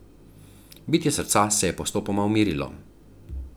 Bitje srca se je postopoma umirilo.